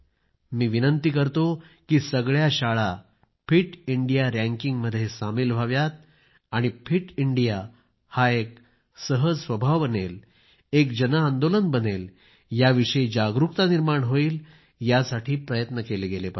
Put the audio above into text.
मी विनंती करतो कि सगळ्या शाळा फिट इंडिया रँकिंग मध्ये सामील व्हाव्यात आणि फिट इंडिया हा एक सहज स्वभाव बनेल एक जनआंदोलन बनेल ह्या विषयी जागरुकता निर्माण होईल यासाठी प्रयत्न केले गेले पाहिजेत